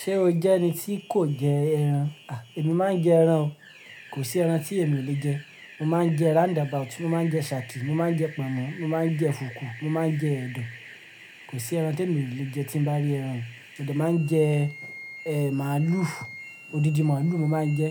Ṣé o jẹ́ ẹni tí kò jẹ ẹran? A! Èmi máa ń jẹ ẹran o. Kò sí ẹran tí èmi ò lè jẹ. Mo máa ń jẹ round about, mo máa ń jẹ shaki, mo máa ń jẹ pọ̀nmọ́, mo máa ń jẹ fùkú, mo máa ń jẹ ẹdọ. Kò sí ẹran tèmi ò lè jẹ tí ń bá rí ẹran. Mo dẹ máa ń jẹ, eh màlúù, odidi màlúù mo máa ń jẹ